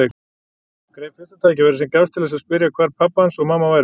Greip fyrsta tækifæri sem gafst til þess að spyrja hvar pabbi hans og mamma væru.